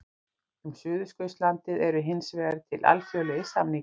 um suðurskautslandið eru hins vegar til alþjóðlegir samningar